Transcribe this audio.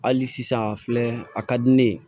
Hali sisan a filɛ a ka di ne ye